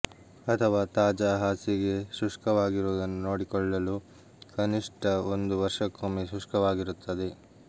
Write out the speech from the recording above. ಅಥವಾ ತಾಜಾ ಹಾಸಿಗೆ ಶುಷ್ಕವಾಗಿರುವುದನ್ನು ನೋಡಿಕೊಳ್ಳಲು ಕನಿಷ್ಠ ಒಂದು ವರ್ಷಕ್ಕೊಮ್ಮೆ ಶುಷ್ಕವಾಗಿರುತ್ತದೆ